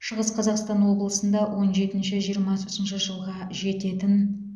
шығыс қазақстан облысында он жетінші жиырмасыншы жылға жететін